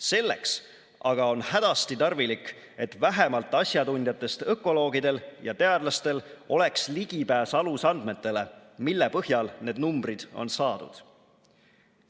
Selleks aga on hädasti tarvilik, et vähemalt asjatundjatest ökoloogidel ja teadlastel oleks ligipääs alusandmetele, mille põhjal need numbrid on saadud.